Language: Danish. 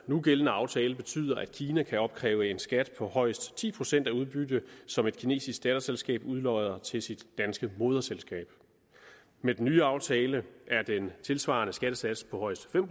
nugældende aftale betyder at kina kan opkræve en skat på højst ti procent af det udbytte som et kinesisk datterselskab udlodder til sit danske moderselskab med den nye aftale er den tilsvarende skattesats på højst fem